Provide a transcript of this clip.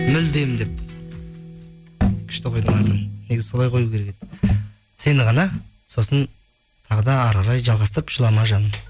мүлдем деп күшті қойдың атын негізі солай қою керек еді сені ғана сосын тағы да әрі қарай жалғастырып жылама жаным